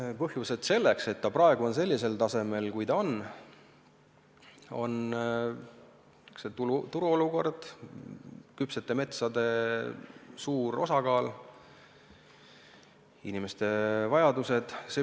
Selle põhjused, miks ta praegu on sellisel tasemel, nagu ta on, on turuolukord, küpsete metsade suur osakaal ja inimeste vajadused.